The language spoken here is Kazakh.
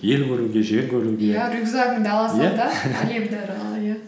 ел көруге жер көруге иә рюкзагыңды ала сал да әлемді арала иә